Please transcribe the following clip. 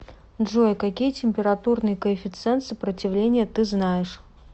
джой какие температурный коэффициент сопротивления ты знаешь